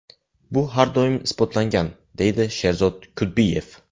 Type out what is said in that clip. Bu har doim isbotlangan”, deydi Sherzod Kudbiyev.